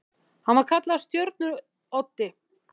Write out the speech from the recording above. Hann var kallaður Stjörnu-Oddi.